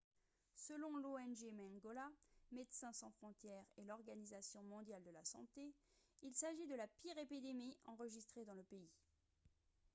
selon l'ong mangola médecins sans frontières et l'organisation mondiale de la santé il s'agit de la pire épidémie enregistrée dans le pays